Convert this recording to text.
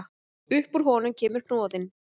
Upp úr honum kemur hnoðinn.